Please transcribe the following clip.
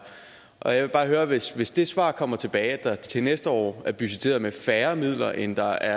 og jeg vil bare høre hvis hvis det svar kommer tilbage at der til næste år er budgetteret med færre midler end der